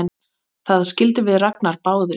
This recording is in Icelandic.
Það skildum við Ragnar báðir!